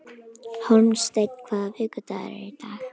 Hólmsteinn, hvaða vikudagur er í dag?